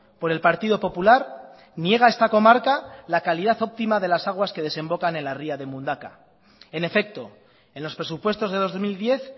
por el partido popular niega esta comarca la calidad óptima de las aguas que desembocan en la ría de mundaka en efecto en los presupuestos de dos mil diez